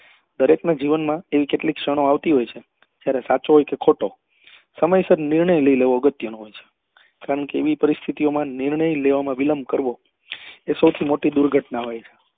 દરેક ના જીવન માં એવી કેટલીક ક્ષણો આવતી હોય છે જ્યારે સાચો હોય કે ખોટો સમયસર નિર્ણય લઇ લેવો અગત્ય નો હોય છે કારણ કે એવી પરિસ્થિતિઓ માં નિર્ણય લેવા માં વિલંબ કરવો એ સૌથી મોટી દુર્ઘટના હોય છે